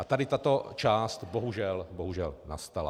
A tady tato část, bohužel, nastala.